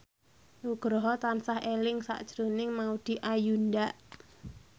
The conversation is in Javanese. Nugroho tansah eling sakjroning Maudy Ayunda